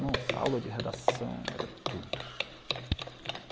Nossa, aula de redação era tudo.